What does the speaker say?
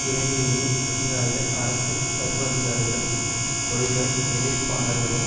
இரவிலேயே அதிகாரிகள் அரசு சர்வாதிகாரிகளும் கோல்கர் எதிர்ப்பாளர்களும்